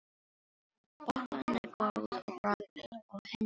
Bollan er góð á bragðið og henni líður vel.